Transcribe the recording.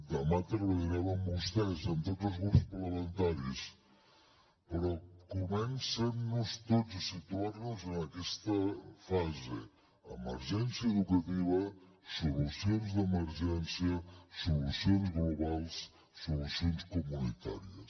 demà treballarem amb vostès amb tots els grups parlamentaris però comencem tots a situar nos en aquesta fase emergència educativa solucions d’emergència solucions globals solucions comunitàries